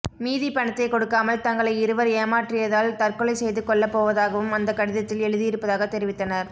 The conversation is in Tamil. மீதி பணத்தை கொடுக்காமல் தங்களை இருவர் ஏமாற்றியதால் தற்கொலை செய்து கொள்ளப்போவதாகவும் அந்த கடிதத்தில் எழுதி இருப்பதாக தெரிவித்தனர்